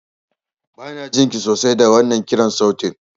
Banajin ki sosai da wannan kiran sautin.